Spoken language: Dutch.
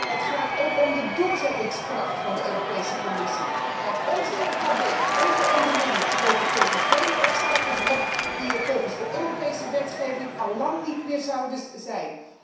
Het gaat ook om de doorzettingskracht van de Commissie, want ons MKB, onze ondernemers, lopen tegen vele obstakels op die er volgens de Europese wetgeving al lang niet meer zouden zijn.